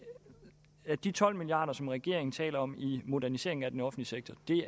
at de tolv milliarder som regeringen taler om i moderniseringen af den offentlige